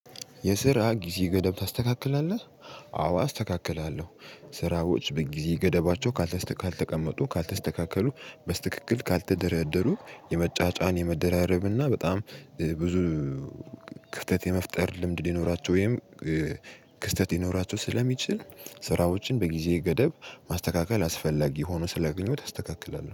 የስራ ጊዜ ገደብ ታስተካክላለህ? አዎ አስተካክላለሁ ስራዎች በጊዜ ገደባቸው። ካልተቀመጡ ካልተስተካከሉ በስትክክተል ካልተደረደሩ የመጫጫን የመደራረብ እና በጣም ብዙ። ክፍተት የመፍጠር ልምድ ሊኖራቸው ወይም ክስተት ሊኖራቸው ስለሚችል። ስራዎችን በጊዜ ገደብ ማስተካከል አስፈላጊ ሆኖ ስላገኘውት አስተካክላለው